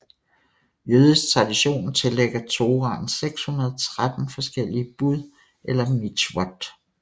Jødisk tradition tillægger Torahen 613 forskellige bud eller mitzvot